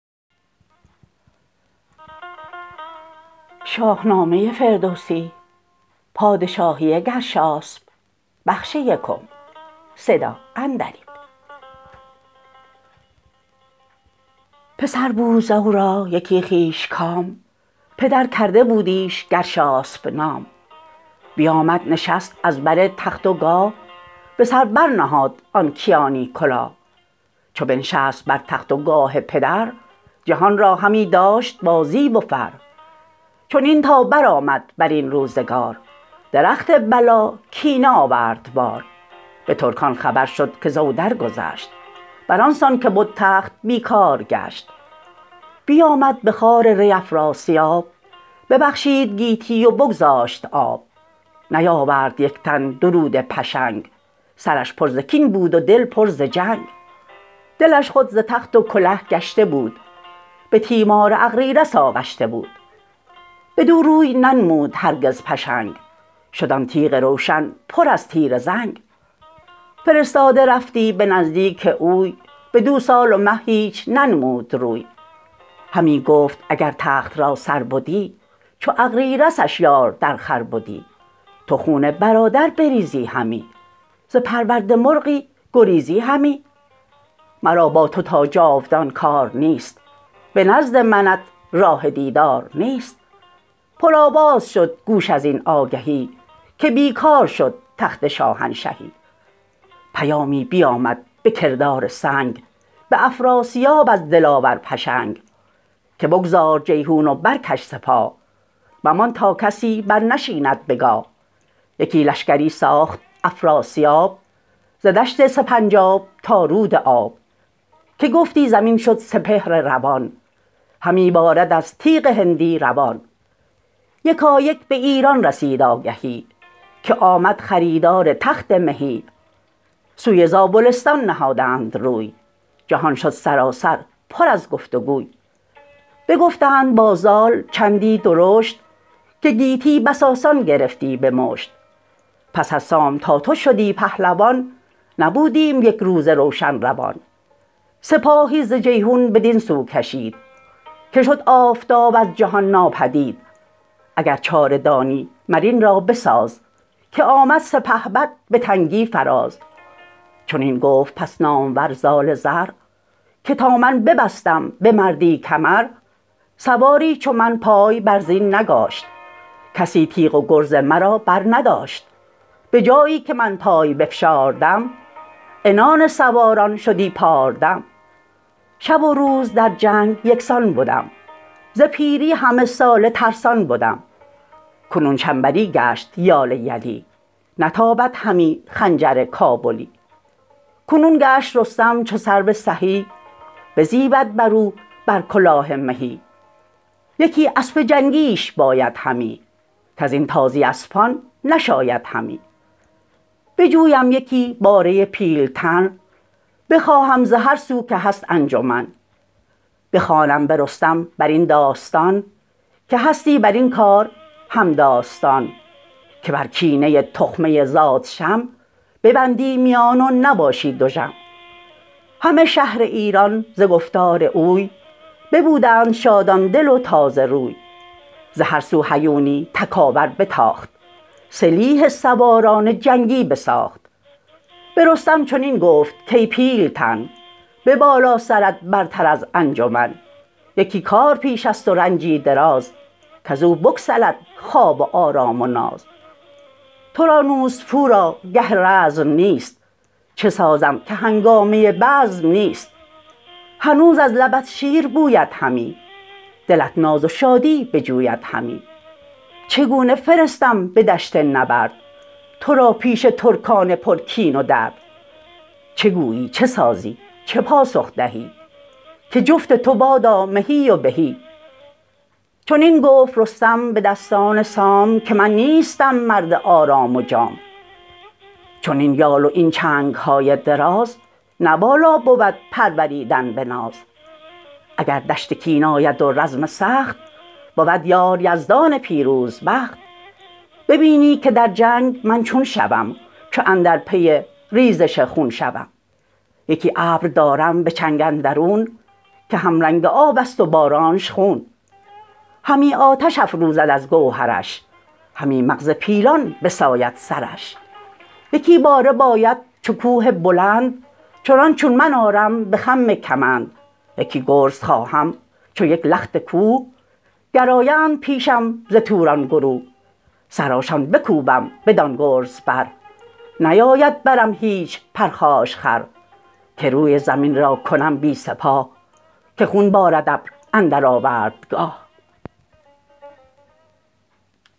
پسر بود زو را یکی خویش کام پدر کرده بودیش گرشاسپ نام بیامد نشست از بر تخت و گاه به سر بر نهاد آن کیانی کلاه چو بنشست بر تخت و گاه پدر جهان را همی داشت با زیب و فر چنین تا برآمد برین روزگار درخت بلا کینه آورد بار به ترکان خبر شد که زو درگذشت بران سان که بد تخت بی کار گشت بیامد به خوار ری افراسیاب ببخشید گیتی و بگذاشت آب نیاورد یک تن درود پشنگ سرش پر ز کین بود و دل پر ز جنگ دلش خود ز تخت و کله گشته بود به تیمار اغریرث آغشته بود بدو روی ننمود هرگز پشنگ شد آن تیغ روشن پر از تیره زنگ فرستاده رفتی به نزدیک اوی بدو سال و مه هیچ ننمود روی همی گفت اگر تخت را سر بدی چو اغریرثش یار درخور بدی تو خون برادر بریزی همی ز پرورده مرغی گریزی همی مرا با تو تا جاودان کار نیست به نزد منت راه دیدار نیست پرآواز شد گوش ازین آگهی که بی کار شد تخت شاهنشهی پیامی بیامد به کردار سنگ به افراسیاب از دلاور پشنگ که بگذار جیحون و برکش سپاه ممان تا کسی برنشیند به گاه یکی لشکری ساخت افراسیاب ز دشت سپیجاب تا رود آب که گفتی زمین شد سپهر روان همی بارد از تیغ هندی روان یکایک به ایران رسید آگهی که آمد خریدار تخت مهی سوی زابلستان نهادند روی جهان شد سراسر پر از گفت وگوی بگفتند با زال چندی درشت که گیتی بس آسان گرفتی به مشت پس از سام تا تو شدی پهلوان نبودیم یک روز روشن روان سپاهی ز جیحون بدین سو کشید که شد آفتاب از جهان ناپدید اگر چاره دانی مراین را بساز که آمد سپهبد به تنگی فراز چنین گفت پس نامور زال زر که تا من ببستم به مردی کمر سواری چو من پای بر زین نگاشت کسی تیغ و گرز مرا برنداشت به جایی که من پای بفشاردم عنان سواران شدی پاردم شب و روز در جنگ یکسان بدم ز پیری همه ساله ترسان بدم کنون چنبری گشت یال یلی نتابد همی خنجر کابلی کنون گشت رستم چو سرو سهی بزیبد برو بر کلاه مهی یکی اسپ جنگیش باید همی کزین تازی اسپان نشاید همی بجویم یکی باره پیلتن بخواهم ز هر سو که هست انجمن بخوانم به رستم بر این داستان که هستی برین کار همداستان که بر کینه تخمه زادشم ببندی میان و نباشی دژم همه شهر ایران ز گفتار اوی ببودند شادان دل و تازه روی ز هر سو هیونی تکاور بتاخت سلیح سواران جنگی بساخت به رستم چنین گفت کای پیلتن به بالا سرت برتر از انجمن یکی کار پیشست و رنجی دراز کزو بگسلد خواب و آرام و ناز ترا نوز پورا گه رزم نیست چه سازم که هنگامه بزم نیست هنوز از لبت شیر بوید همی دلت ناز و شادی بجوید همی چگونه فرستم به دشت نبرد ترا پیش ترکان پر کین و درد چه گویی چه سازی چه پاسخ دهی که جفت تو بادا مهی و بهی چنین گفت رستم به دستان سام که من نیستم مرد آرام و جام چنین یال و این چنگهای دراز نه والا بود پروریدن به ناز اگر دشت کین آید و رزم سخت بود یار یزدان پیروزبخت ببینی که در جنگ من چون شوم چو اندر پی ریزش خون شوم یکی ابر دارم به چنگ اندرون که همرنگ آبست و بارانش خون همی آتش افروزد از گوهرش همی مغز پیلان بساید سرش یکی باره باید چو کوه بلند چنان چون من آرم به خم کمند یکی گرز خواهم چو یک لخت کوه گرآیند پیشم ز توران گروه سرانشان بکوبم بدان گرز بر نیاید برم هیچ پرخاشخر که روی زمین را کنم بی سپاه که خون بارد ابر اندر آوردگاه